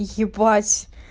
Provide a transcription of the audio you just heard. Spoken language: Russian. ебать